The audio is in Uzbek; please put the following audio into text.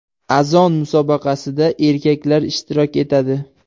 Azon musobaqasida erkaklar ishtirok etadi.